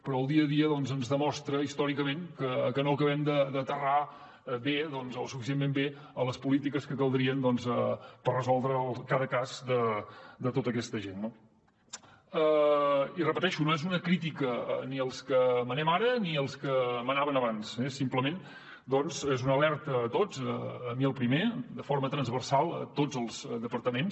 però el dia a dia ens demostra històricament que no acabem d’aterrar bé o suficientment bé les polítiques que caldrien per resoldre cada cas de tota aquesta gent no i ho repeteixo no és una crítica ni als que manem ara ni als que manaven abans simplement doncs és una alerta a tots a mi el primer de forma transversal a tots els departaments